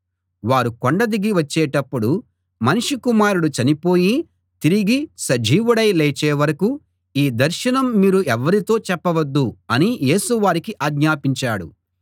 వారు కొండ దిగి వచ్చేటప్పుడు మనుష్య కుమారుడు చనిపోయి తిరిగి సజీవుడై లేచే వరకూ ఈ దర్శనం మీరు ఎవ్వరితో చెప్పవద్దు అని యేసు వారికి ఆజ్ఞాపించాడు